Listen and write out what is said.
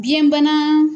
Biyɛnbana